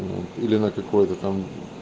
или на какое-то там